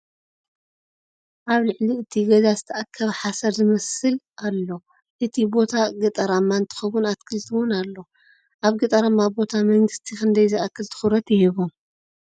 ኣብ ልዕሊ እቲ ገዛ ዝተኣከበ ሓሰር ዝመስል ኣሎ እቲ ቦታ ገጠራማ እንትከውን ኣትክልቲ እውን ኣሎ ። ኣብ ገጠራማ ቦታ ምንግስቲ ክንደይ ዝኣክል ትኩረት ይህቦም ?